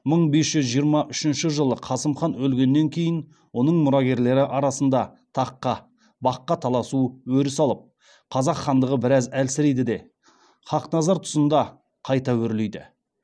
мың бес жүз жиырма үшінші жылы қасым хан өлгеннен кейін оның мұрагерлері арасында таққа баққа таласу өріс алып қазақ хандығы біраз әлсірейді де хақназар тұсында қайта өрлейді